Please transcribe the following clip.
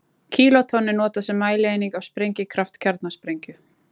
Kílótonn er notað sem mælieining á sprengikraft kjarnasprengju.